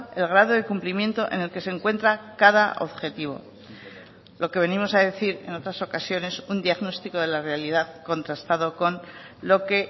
el grado de cumplimiento en el que se encuentra cada objetivo lo que venimos a decir en otras ocasiones un diagnóstico de la realidad contrastado con lo que